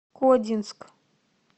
кодинск